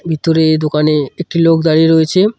ভিতরে দোকানে একটি লোক দাঁড়িয়ে রয়েছে।